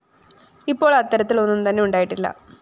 ഇപ്പോൾ അത്തരത്തിൽ ഒന്നും തന്നെ ഉണ്ടായിട്ടില്ല